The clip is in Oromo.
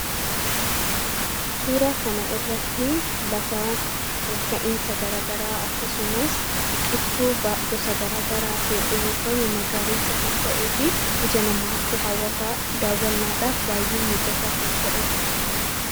Suuraa kana irratti lafa ol ka'iinsa gara garaa akkasumas biqiltuu gosa gara garaatiin uwwifame, magariisa kan ta’ee fi ija namaatti hawwataa daawwannaadhaaf baay'ee mijataa kan ta’edha.